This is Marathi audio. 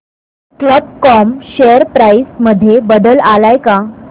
कल्प कॉम शेअर प्राइस मध्ये बदल आलाय का